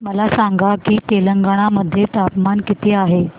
मला सांगा की तेलंगाणा मध्ये तापमान किती आहे